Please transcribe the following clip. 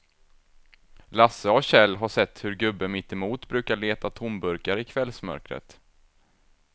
Lasse och Kjell har sett hur gubben mittemot brukar leta tomburkar i kvällsmörkret.